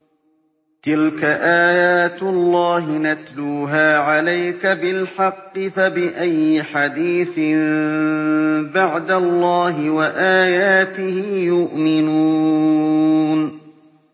تِلْكَ آيَاتُ اللَّهِ نَتْلُوهَا عَلَيْكَ بِالْحَقِّ ۖ فَبِأَيِّ حَدِيثٍ بَعْدَ اللَّهِ وَآيَاتِهِ يُؤْمِنُونَ